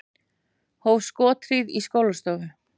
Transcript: Hóf skothríð í skólastofu